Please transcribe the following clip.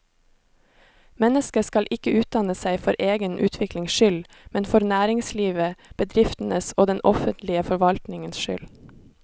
Mennesket skal ikke utdanne seg for egen utviklings skyld, men for næringslivets, bedriftenes og den offentlige forvaltningens skyld.